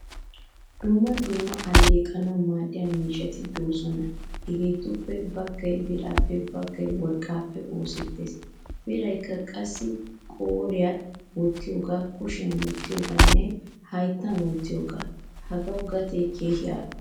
Dumma dumma alleqanawu maadiyaa miishshati deosona. Hagettuppe baggaay birappe, baggaay worqqappe oosettees. Biraykka qassi qooriyan wottiyoga, kushiyan wottiyoganne hayttan wottiyogaa. Hagawu gatee keehin al'o.